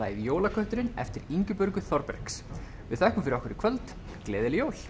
jólaköttinn eftir Ingibjörgu Þorbergs við þökkum fyrir okkur í kvöld gleðileg jól